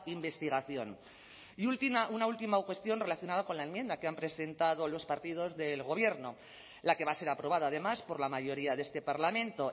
investigación y una última cuestión relacionada con la enmienda que han presentado los partidos del gobierno la que va a ser aprobada además por la mayoría de este parlamento